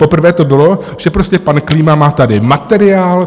Poprvé to bylo, že prostě pan Klíma má tady materiál.